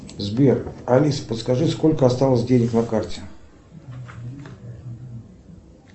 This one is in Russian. сбер алиса подскажи сколько осталось денег на карте